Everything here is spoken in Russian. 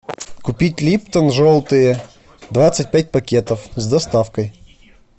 купить липтон желтые двадцать пять пакетов с доставкой